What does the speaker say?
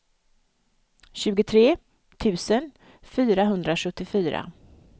tjugotre tusen fyrahundrasjuttiofyra